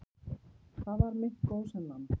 Þar var mitt gósenland.